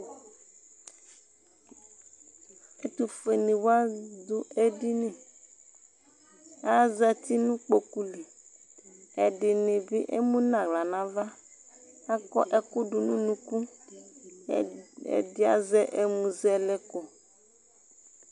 Ɛtʋfuenɩ wa dʋ edini Azati nʋ kpoku li Ɛdɩnɩ bɩ emu nʋ aɣla nʋ ava Akɔ ɛkʋ dʋ nʋ unuku Ɛd ɛdɩ azɛ ɛmʋzɛlɛko